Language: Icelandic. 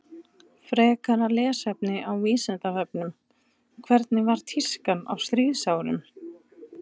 Frekara lesefni á Vísindavefnum Hvernig var tískan á stríðsárunum?